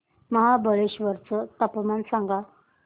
महाबळेश्वर चं तापमान सांग